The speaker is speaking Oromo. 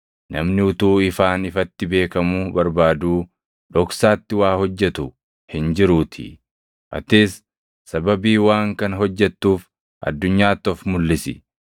Namni utuu ifaan ifatti beekamuu barbaaduu dhoksaatti waa hojjetu hin jiruutii. Atis sababii waan kana hojjettuuf addunyaatti of mulʼisi.”